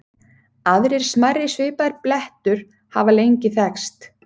Aðrir smærri svipaðir blettur hafa lengi þekkst.